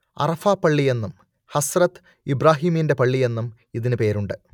അറഫാ പള്ളിയെന്നും ഹസ്രത്ത് ഇബ്രാഹീമിന്റെ പള്ളിയെന്നും ഇതിനു പേരുണ്ട്